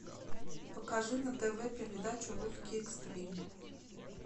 покажи на тв передачу русский экстрим